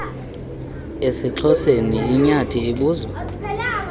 esixhoseni inyathi ibuzwa